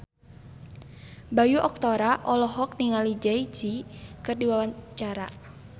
Bayu Octara olohok ningali Jay Z keur diwawancara